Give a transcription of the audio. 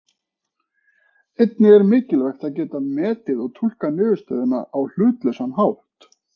Einnig er mikilvægt að geta metið og túlkað niðurstöður á hlutlausan hátt.